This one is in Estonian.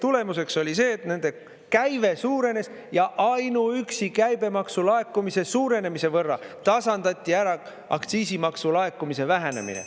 Tulemuseks oli see, et nende käive suurenes ja ainuüksi käibemaksu laekumise suurenemise võrra tasandati ära aktsiisimaksu laekumise vähenemine.